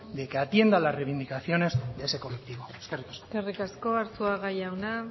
de que atienda las reivindicaciones de ese colectivo eskerrik asko eskerrik asko arzuaga jauna